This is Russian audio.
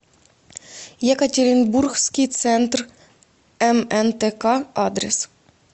екатеринбургский центр мнтк адрес